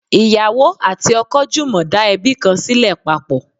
ìyàwó ati oko jumọ da ebi kan sile papọ